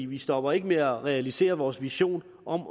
vi stopper ikke med at realisere vores vision om